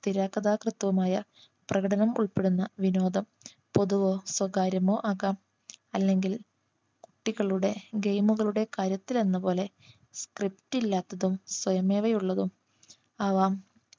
തിരാക്കഥാകൃത്തുമായ പ്രകടനം ഉൾപ്പെടുന്ന വിനോദം പൊതുവോ സ്വകാര്യമോ ആകാം അല്ലെങ്കിൽ കുട്ടികളുടെ Game കളുടെ കാര്യത്തിൽ എന്നപോലെ Script ഇല്ലാത്തതും സ്വയമേവ ഉള്ളതും ആവാം